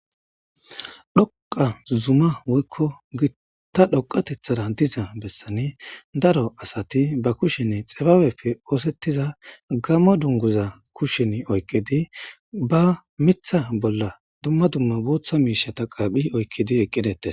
dhoqa zuma woykko gitta dhoqatethara diza bessani daro asati ba kushinne xibaawefe oosettiza gammo dunguza kushin oykkidi ba mitha bolla dumma dumma booththa miishata qaaphi oykkidi eqqidetes